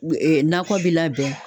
nakɔ bi labɛn